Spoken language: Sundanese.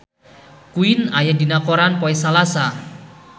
Queen aya dina koran poe Salasa